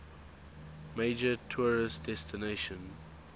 major tourist destination